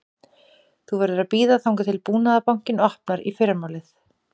Þú verður að bíða þangað til Búnaðarbankinn opnar í fyrramálið